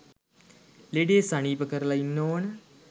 ලෙඩේ සනීප කරලා ඉන්න ඕන